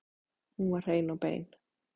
Hún var hrein og bein.